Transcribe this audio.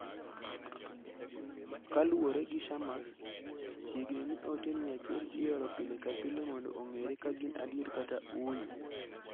Kaluwore gi Shammas, chiegni ni ote 100 ioro pile ka pile mondo ong'ere ka gin adier kata ooyo.